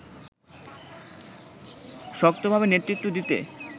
শক্তভাবে নেতৃত্ব দিতে